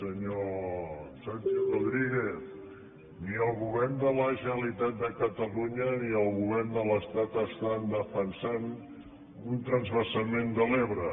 senyor santi rodríguez ni el govern de la generalitat de catalunya ni el govern de l’estat estan defensant un transvasament de l’ebre